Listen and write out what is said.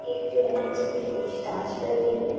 एक जो है उनसे कुछ पूछ ताछ कर रही है।